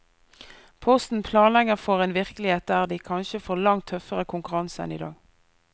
Posten planlegger for en virkelighet der de kanskje får langt tøffere konkurranse enn i dag.